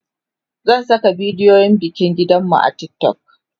zan Saka bidiyon bikin gidan mu a TikTok